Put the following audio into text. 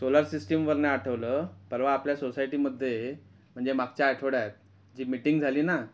Solar system वरनं आठवलं पर्वा आपल्या सोसायटी मध्ये म्हणजे मागच्या आठवड्यात जी मीटिंग झाली ना.